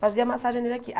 Fazia massagem nele aqui.